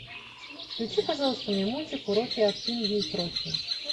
включи пожалуйста мне мультик уроки от пинги и кроки